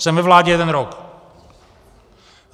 Jsem ve vládě jeden rok.